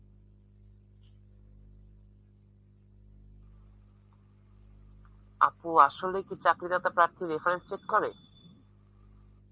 আপু আসলে কি চাকরি দাতা প্রার্থীর reference চেক করে?